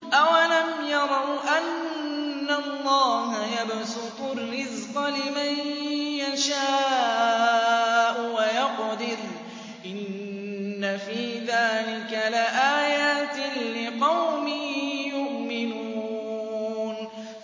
أَوَلَمْ يَرَوْا أَنَّ اللَّهَ يَبْسُطُ الرِّزْقَ لِمَن يَشَاءُ وَيَقْدِرُ ۚ إِنَّ فِي ذَٰلِكَ لَآيَاتٍ لِّقَوْمٍ يُؤْمِنُونَ